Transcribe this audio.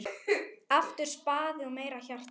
Aftur spaði og meira hjarta.